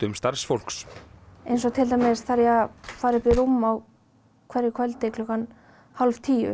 starfsfólks eins og til dæmis þarf ég að fara upp í rúm á hverju kvöldi klukkan hálf tíu